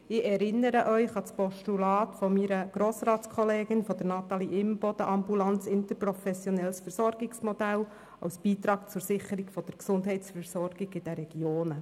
Ich erinnere Sie an das Postulat 297-2015 meiner Grossratskollegin Natalie Imboden «Ambulantes interprofessionelles Versorgungsmodell als Beitrag zur Sicherung der Gesundheitsversorgung in den Regionen».